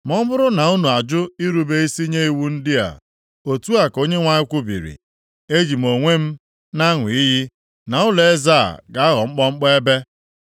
Ma ọ bụrụ na unu ajụ irube isi nye iwu ndị a, otu a ka Onyenwe anyị kwubiri, eji m onwe m na-aṅụ iyi na ụlọeze a ga-aghọ mkpọmkpọ ebe.’ ”